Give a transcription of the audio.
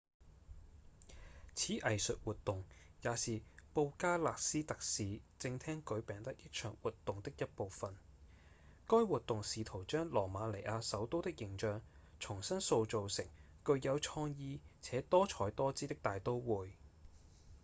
此藝術活動也是布加勒斯特市政廳舉辦的一場活動的一部分該活動試圖將羅馬尼亞首都的形象重新塑造成具有創意且多采多姿的大都會